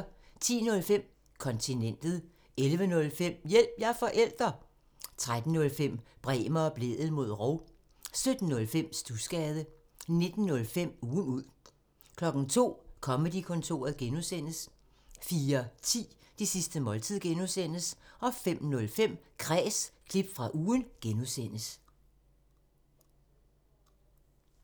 10:05: Kontinentet 11:05: Hjælp – jeg er forælder! 13:05: Bremer og Blædel mod rov 17:05: Studsgade 19:05: Ugen ud 02:00: Comedy-kontoret (G) 04:10: Det sidste måltid (G) 05:05: Kræs – klip fra ugen (G)